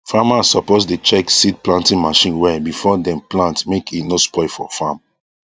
farmers suppose dey check seed planting machine well before dem plant make e no spoil for farm